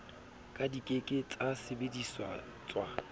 ka di ke ke tsasebedisetswa